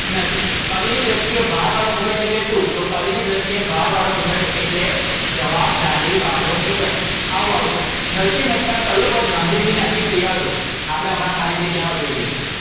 નથી. કવિની ધ્રષ્ટિએ ભારવારો મુગટ એટ્લે શું? તો કવિની ધ્રષ્ટિએ ભારવારો મુગટ એટ્લે જવાબદારી વાડો મુગટ. આવું આવશે. નરશિહ મહેતા કયું પદ ગાંધીજી ને અતિપ્રિય હતું? આપદે હમણાં ખાલી જગ્યા માં જોઈ લીધું.